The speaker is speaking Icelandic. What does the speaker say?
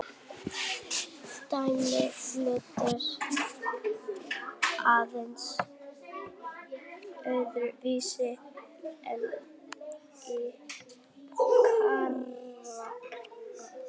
Dæmið lítur aðeins öðru vísi út í Kína.